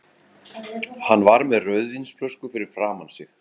Hann var með rauðvínsflösku fyrir framan sig.